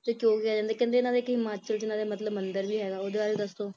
ਕਿਉਂ ਕਿਹਾ ਜਾਂਦਾ ਆ ਕਹਿੰਦੇ ਹਿਮਾਚਲ ਚ ਇਹਨਾ ਦਾ ਮਤਲਬ ਇਕ ਮੰਦਿਰ ਵੀ ਹੈਗਾ ਓਹਦੇ ਬਾਰੇ ਦੱਸੋ